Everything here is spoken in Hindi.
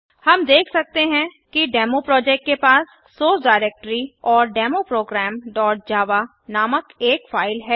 हम देख सकते हैं कि डेमो प्रोजेक्ट के पास सोर्स डिरेक्टरी और डेमो programजावा नामक एक फाइल है